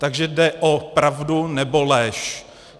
Takže jde o pravdu, nebo lež.